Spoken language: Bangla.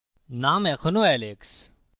name এখনও alex